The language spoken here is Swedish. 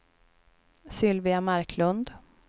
Sylvia Marklund